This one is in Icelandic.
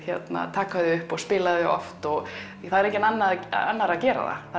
taka þau upp og spila þau oft því það er enginn annar annar að gera það